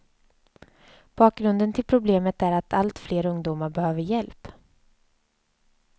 Bakgrunden till problemet är att allt fler ungdomar behöver hjälp.